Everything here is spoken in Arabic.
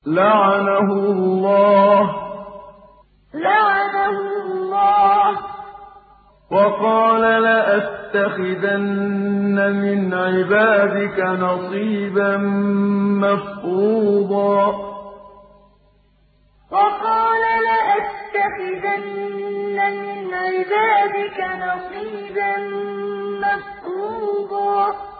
لَّعَنَهُ اللَّهُ ۘ وَقَالَ لَأَتَّخِذَنَّ مِنْ عِبَادِكَ نَصِيبًا مَّفْرُوضًا لَّعَنَهُ اللَّهُ ۘ وَقَالَ لَأَتَّخِذَنَّ مِنْ عِبَادِكَ نَصِيبًا مَّفْرُوضًا